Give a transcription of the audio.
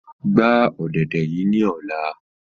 Gba ọ̀dẹ̀dẹ̀ yii ni ọla!